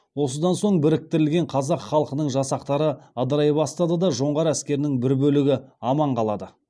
осыдан соң біріктірілген қазақ халқының жасақтары ыдырай бастады да жоңғар әскерінің бір бөлігі аман қалады